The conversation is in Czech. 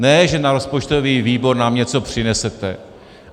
Ne že na rozpočtový výbor nám něco přinesete.